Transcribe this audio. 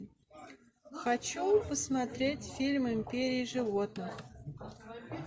хочу посмотреть фильм империя животных